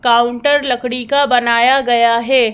Counter लकड़ी का बनाया गया है।